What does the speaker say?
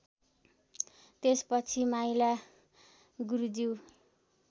त्यसपछि माइला गुरुज्यू